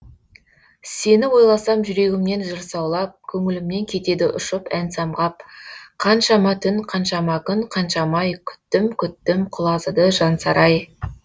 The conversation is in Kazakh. сені ойласам жүрегімнен жыр саулап көңілімнен кетеді ұшып ән самғап қаншама түн қаншама күн қаншама ай күттім күттім құлазыды жансарай